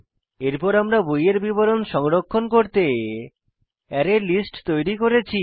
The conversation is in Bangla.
এরপর আমরা বইয়ের বিবরণ সংরক্ষণ করতে অ্যারেলিস্ট তৈরী করেছি